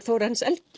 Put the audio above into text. Þórarins